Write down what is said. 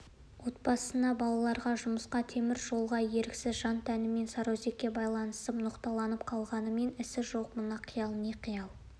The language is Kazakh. отбасына балаларға жұмысқа темір жолға еріксіз жан-тәнімен сарыөзекке байланысып ноқталанып қалғанымен ісі жоқ мына қиял не қиял